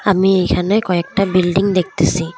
আমি এখানে কয়েকটা বিল্ডিং দেখতাসি।